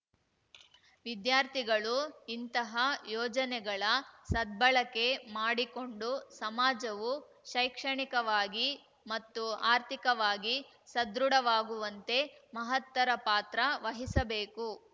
ವಿದ್ಯಾರ್ಥಿಗಳು ಇಂತಹ ಯೋಜನೆಗಳ ಸದ್ಬಳಕೆ ಮಾಡಿಕೊಂಡು ಸಮಾಜವು ಶೈಕ್ಷಣಿಕವಾಗಿ ಮತ್ತು ಆರ್ಥಿಕವಾಗಿ ಸದೃಢವಾಗುವಂತೆ ಮಹತ್ತರ ಪಾತ್ರ ವಹಿಸಬೇಕು